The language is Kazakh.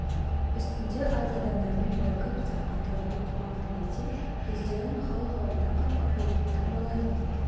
үстінде аз адамдармен бірігіп сапқа тұрып оқыған тілесем жүздерін халық алдында қап-қара етіп таңбалаймын